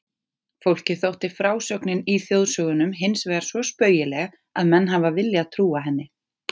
Fólki þótti frásögnin í þjóðsögunum hinsvegar svo spaugileg að menn hafa viljað trúa henni.